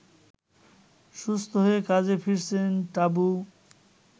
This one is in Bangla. সুস্থ হয়ে কাজে ফিরেছেন টাবু